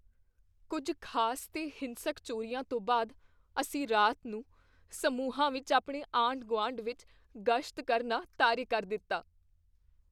ਕੁੱਝ ਖ਼ਾਸ ਤੇ ਹਿੰਸਕ ਚੋਰੀਆਂ ਤੋਂ ਬਾਅਦ ਅਸੀਂ ਰਾਤ ਨੂੰ ਸਮੂਹਾਂ ਵਿੱਚ ਆਪਣੇ ਆਂਢ ਗੁਆਂਢ ਵਿੱਚ ਗਸ਼ਤ ਕਰਨਾ ਤਾਰੇ ਕਰ ਦਿੱਤਾ